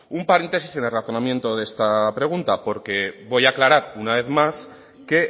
un paréntesis en el razonamiento de esta pregunta porque voy a aclarar una vez más que